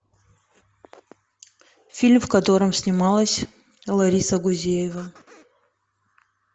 фильм в котором снималась лариса гузеева